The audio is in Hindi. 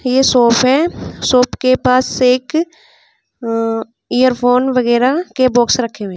ये शॉप है शॉप के पास एक ईयरफोन वगैरा के बॉक्स रखे हुए हैं।